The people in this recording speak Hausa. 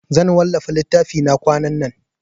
Zan wallafa littafina kwanan nan.